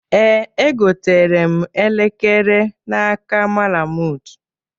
Ee, egotere m elekere n'aka Malamud